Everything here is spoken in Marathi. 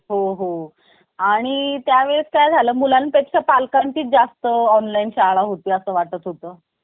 बसण्याच्या वेळी तुम्ही त्यांचे आभार देखील मानले पाहिजे याचा देखील खुप जास्त प्रभाव पडतो. नंतर आत्मविश्‍वास मुलाखतीला जात असताना सर्वात महत्वाची गोष्ट असते आत्मविश्‍वास.